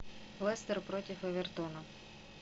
лестер против эвертона